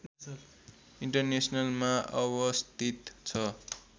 इन्टरनेसनलमा अवस्थित छ